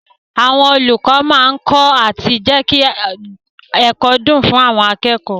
Àwọn olùkọ́ máa kọ́ àti jẹ́kí ẹ̀kọ́ dùn fún àwọn akẹ́kọ̀ọ́.